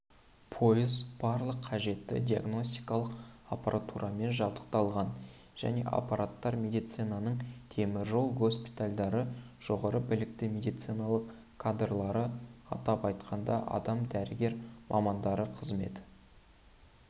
пойыз барлық қажетті диагностикалық аппаратурамен жабдықталған және апаттар медицинасының теміржол госпитальдары жоғары білікті медициналық кадрлары атап айтқанда астам дәрігер мамандары қызмет